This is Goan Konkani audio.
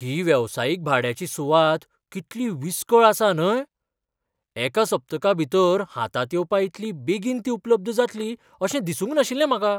ही वेवसायीक भाड्याची सुवात कितली विसकळ आसा न्हय? एका सप्तका भितर हातांत येवपा इतली बेगीन ती उपलब्ध जातली अशें दिसूंक नाशिल्लें म्हाका!